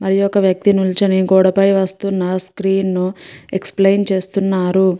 మరి ఒక వ్యక్తి నిల్చోని గోడ పై వస్తున్న స్క్రీన్ ను ఎక్స్ప్లెయిన్ చేస్తున్నరు.